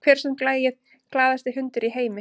Hver söng lagið “Glaðasti hundur í heimi”?